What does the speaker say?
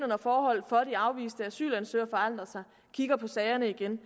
når forholdene for de afviste asylansøgere forandrer sig kigger på sagerne igen